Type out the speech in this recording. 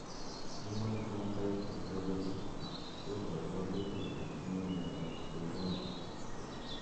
Human Phenotype Ontology koporu wolutik kole itinye Miondap Peyronie.